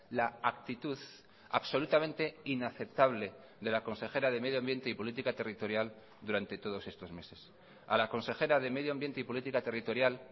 la actitud absolutamente inaceptable de la consejera de medio ambiente y política territorial durante todos estos meses a la consejera de medio ambiente y política territorial